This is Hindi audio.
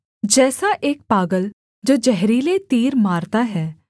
जैसा एक पागल जो जहरीले तीर मारता है